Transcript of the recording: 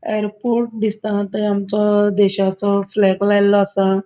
एयरपोर्ट दिसता थंय आमचो देशाचो फ्लैग लायल्लो आसा.